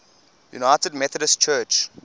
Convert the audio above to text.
united methodist church